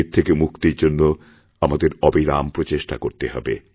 এরথেকে মুক্তির জন্য আমাদের অবিরাম প্রচেষ্টা করতে হবে